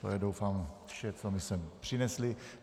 To je, doufám, vše, co mi sem přinesli.